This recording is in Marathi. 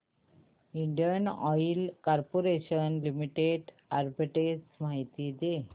Indian oil corporation limited arbitrage माहिती दे